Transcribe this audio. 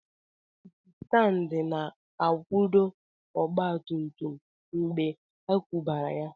kikistandi na akwudo ọgba tum tum mgbe a kwubara ya